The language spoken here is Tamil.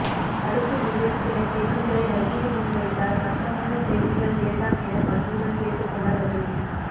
அடுத்து விவேக் சில கேள்விகளை ரஜினி முன் வைத்தார் கஷ்டமான கேள்விகள் வேண்டாம் என பணிவுடன் கேட்டுக் கொண்டார் ரஜினி